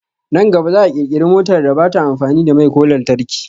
Nan gaba za'a kirkira motar da bata amfani da mai ko lantarki